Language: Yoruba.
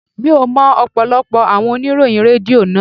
Mi ò mọ ọ̀pọ̀lọpọ̀ àwọn oníròyìn Rédíò náà.